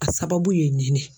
A sababu ye nin de.